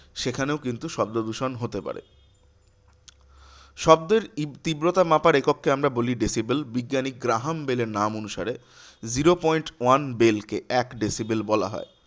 সেখানেও কিন্তু শব্দদূষণ হতে পারে। শব্দের ই তীব্রতা মাপার একককে আমরা বলি decibel. বিজ্ঞানী গ্রাহামবেলের নাম অনুসারে zero point one bel কে এক decibel বলা হয়।